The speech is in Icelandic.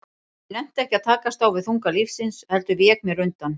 Ég nennti ekki að takast á við þunga lífsins, heldur vék mér undan.